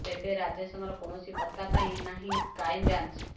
ତେବେ ରାଜେଶଙ୍କର କୌଣସି ପତ୍ତା ପାଇ ନାହିଁ କ୍ରାଇମ ବ୍ରାଞ୍ଚ